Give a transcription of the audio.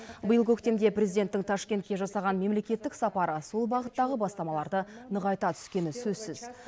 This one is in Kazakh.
биыл көктемде президенттің ташкентке жасаған мемлекеттік сапары сол бағыттағы бастамаларды нығайта түскені сөзсіз